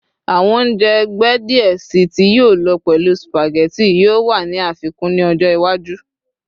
Awọn ounjẹ ẹgbẹ diẹ sii tí yíò lọ pẹlu spaghetti yoo wa ni afikun ni ọjọ iwaju